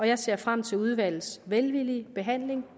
jeg ser frem til udvalgets velvillige behandling